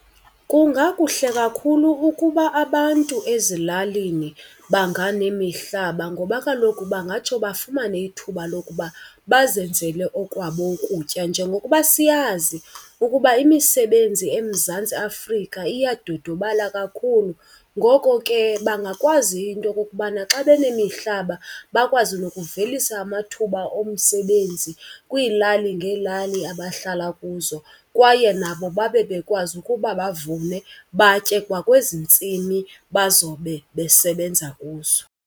Kungakuhle kakhulu ukuba abantu ezilalini banganemihlaba ngoba kaloku bangatsho bafumane ithuba lokuba bazenzele okwabo ukutya. Njengokuba siyazi ukuba imisebenzi eMzantsi Afrika iyadodobala kakhulu, ngoko ke bangakwazi into yokokubana xa banemihlaba bakwazi nokuvelisa amathuba omsebenzi kwiilali ngeelali abahlala kuzo. Kwaye nabo babe bekwazi ukuba bavune batye kwakwezi ntsimi bazobe besebenza kuzo.